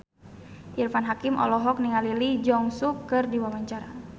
Irfan Hakim olohok ningali Lee Jeong Suk keur diwawancara